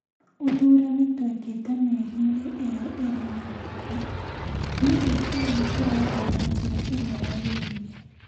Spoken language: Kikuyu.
Ũthuurani twekete mĩeri-inĩ ĩo ĩrĩ mĩhĩtũku, ndiũĩ kana nĩ tũrathiĩ na njĩra ĩrĩa yagĩrĩire.